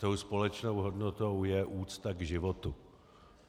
Tou společnou hodnotou je úcta k životu.